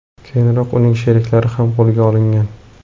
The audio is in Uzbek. Keyinroq uning sheriklari ham qo‘lga olingan.